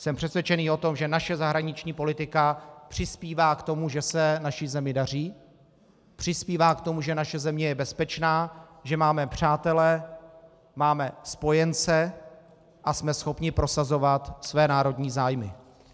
Jsem přesvědčen o tom, že naše zahraniční politika přispívá k tomu, že se naší zemi daří, přispívá k tomu, že naše země je bezpečná, že máme přátele, máme spojence a jsme schopni prosazovat své národní zájmy.